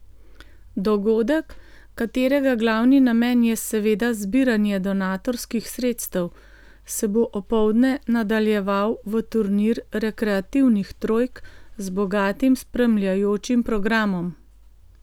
Dogodek, katerega glavni namen je seveda zbiranje donatorskih sredstev, se bo opoldne nadaljeval v turnir rekreativnih trojk z bogatim spremljajočim programom.